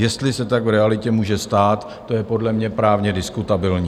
Jestli se tak v realitě může stát, to je podle mě právně diskutabilní.